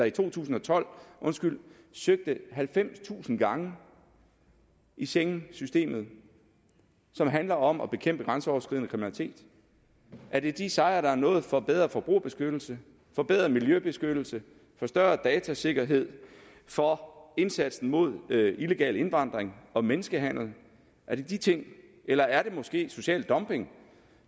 i to tusind og tolv søgte halvfemstusind gange i schengensystemet som handler om at bekæmpe grænseoverskridende kriminalitet er det de sejre der er nået for bedre forbrugerbeskyttelse for bedre miljøbeskyttelse for større datasikkerhed for indsatsen mod illegal indvandring og menneskehandel er det de ting eller er det måske social dumping